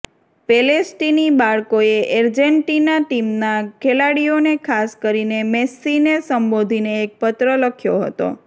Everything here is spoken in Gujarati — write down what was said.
પેલેસ્ટીની બાળકોએ આર્જેન્ટિના ટીમના ખેલાડીઓને ખાસ કરીને મેસ્સીને સંબોધીને એક પત્ર લખ્યો હતો